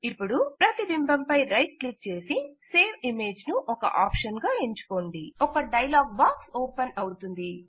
ఇపుడు ప్రతిబింబముపై right click చేసి సేవ్ ఇమేజ్ ను ఒక ఆప్షన్ గా ఎంచుకోండి ఒక డైలాగ్ బాక్స్ ఓపెన్ అవుతుంది